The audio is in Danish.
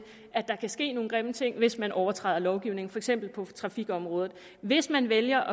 at der kan ske nogle grimme ting hvis man overtræder lovgivningen for eksempel på trafikområdet hvis man vælger